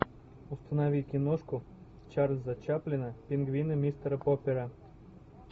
установи киношку чарльза чаплина пингвины мистера поппера